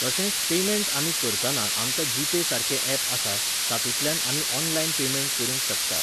तशेंच पेमेंण्ट आमी करताना आमकां जीपेसारकें ऍप आसा, तातूंतल्यान आमी ऑनलायन पेमेण्ट करूंक शकता.